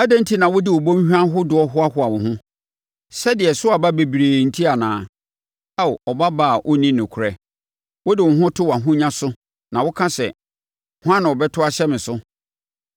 Adɛn enti na wode wo bɔnhwa ahodoɔ hoahoa wo ho? Sɛdeɛ ɛso aba bebree enti anaa? Ao ɔbabaa a ɔnni nokorɛ, wode wo ho to wʼahonya so na woka sɛ, ‘Hwan na ɔbɛto ahyɛ me so?’